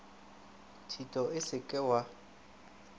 thito o se ke wa